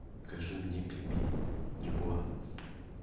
закажи мне пельмени дюбуа